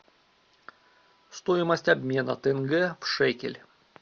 стоимость обмена тенге в шекель